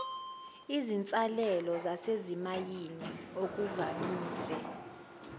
izinsalela zasezimayini okuvamise